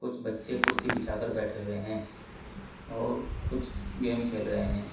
कुछ बच्चे कुर्सी बिछाकर बैठे हुए हैं और कुछ गेम खेल रहे हैं।